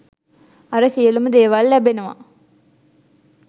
අර සියලුම දේවල් ලැබෙනවා